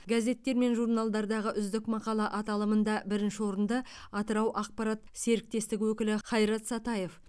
газеттер мен журналдардағы үздік мақала аталымында бірінші орынды атырау ақпарат серіктестігі өкілі хайрат сатаев